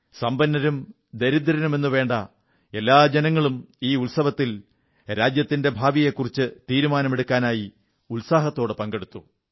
സമ്പന്നരും ദരിദ്രരുമെന്നുവേണ്ട എല്ലാ ജനങ്ങളും ഈ ഉത്സവത്തിൽ രാജ്യത്തിന്റെ ഭാവിയെക്കുറിച്ചു തീരുമാനമെടുക്കുന്നതിനായി ഉത്സാഹത്തോടെ പങ്കെടുത്തു